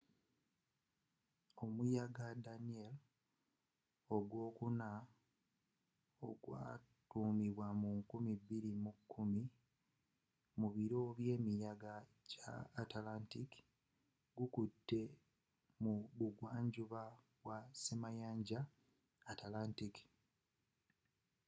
omuyaga danielle ogwookuna ogwatuumibwa mu 2010 mu biro byemiyaga gya atlantic gukutte mu buvanjuba bwa ssemayanja atlantic